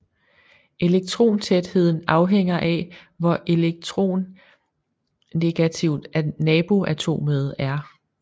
Elektrontætheden afhænger af hvor elektronegativt naboatomet er